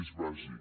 és bàsic